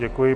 Děkuji.